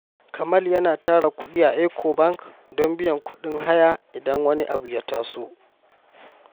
Kamal yana tara kudi a Ecobank don biyan kudin haya idan wani abu ya taso.